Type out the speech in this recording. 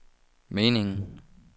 meningen